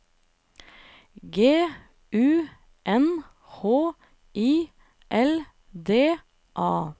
G U N H I L D A